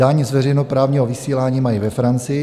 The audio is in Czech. Daň z veřejnoprávního vysílání mají ve Francii.